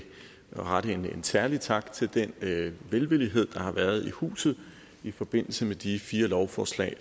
at rette en særlig tak til den velvillighed der har været i huset i forbindelse med de fire lovforslag